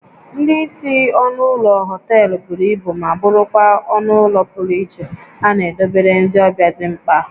Ndị isi ọnụ ụlọ họtel buru ibu ma bụrụkwa ọnụ ụlọ pụrụ iche a na edobere ndị ọbịa dị mkpa